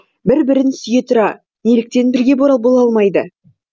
бір бірін сүйе тұра неліктен бірге бола алмайды